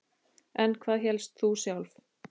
En hvað hélst þú sjálf?